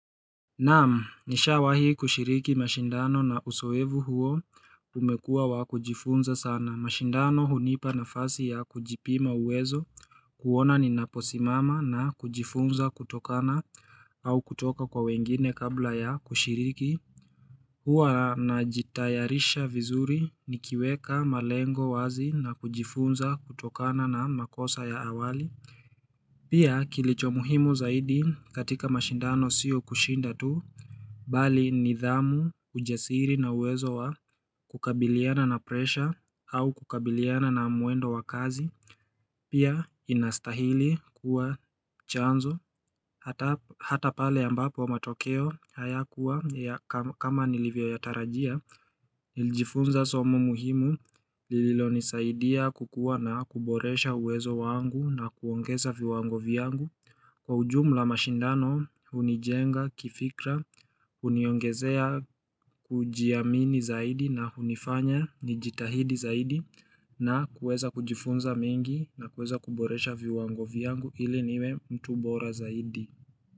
Naam nisha wahi kushiriki mashindano na uzoefu huo umekuwa wa kujifunza sana mashindano hunipa na fasi ya kujipima uwezo kuona ni naposimama na kujifunza kutokana au kutoka kwa wengine kabla ya kushiriki. Huwa najitayarisha vizuri nikiweka malengo wazi na kujifunza kutokana na makosa ya awali. Pia kilicho muhimu zaidi katika mashindano siyo kushinda tu. Bali nidhamu ujasiri na uwezo wa kukabiliana na presha au kukabiliana na mwendo wa kazi. Pia inastahili kuwa chanzo hata pale ambapo matokeo haya kuwa kama nilivyo yatarajia. Nilijifunza somo muhimu lililo nisaidia kukuwa na kuboresha uwezo wangu na kuongeza viwango vyangu. Kwa ujumula mashindano hunijenga kifikra huniongezea kujiamini zaidi na unifanya nijitahidi zaidi. Na kuweza kujifunza mengi na kuweza kuboresha viwango vyangu ili niwe mtu bora zaidi.